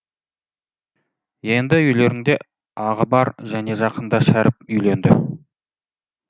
енді үйлерінде ағы бар және жақында шәріп үйленді